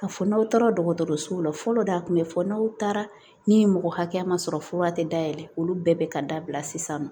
Ka fɔ n'aw taara dɔgɔtɔrɔsow la fɔlɔ de a kun bɛ fɔ n'aw taara ni mɔgɔ hakɛya ma sɔrɔ fura tɛ dayɛlɛ olu bɛɛ bɛ ka dabila sisan nɔ